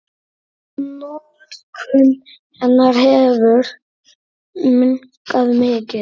Notkun hennar hefur minnkað mikið.